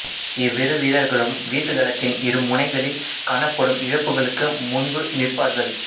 இவ்விரு வீரர்களும் வீசுகளத்தின் இரு முனைகளில் காணப்படும் இழப்புகளுக்கு முன்பு நிற்பார்கள்